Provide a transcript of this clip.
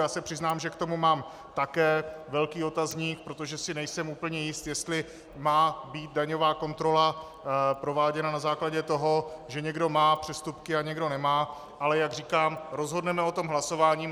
Já se přiznám, že k tomu mám také velký otazník, protože si nejsem úplně jist, jestli má být daňová kontrola prováděna na základě toho, že někdo má přestupky a někdo nemá, ale jak říkám, rozhodneme o tom hlasováním.